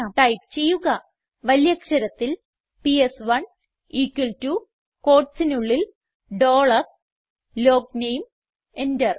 type ചെയ്യുക വലിയ അക്ഷരത്തിൽ പിഎസ്1 equal ടോ quotesനുള്ളിൽ ഡോളർ ലോഗ്നേം എന്റർ